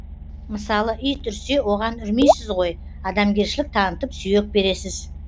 мысалы ит үрсе оған үрмейсіз ғой адамгершілік танытып сүйек бересіз